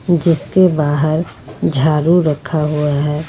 जिसके बाहर झाड़ू रखा हुआ है।